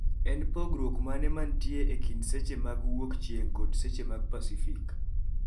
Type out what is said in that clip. En pogruok mane mantie ekind seche mag mawuok chieng kod seche mag pacifik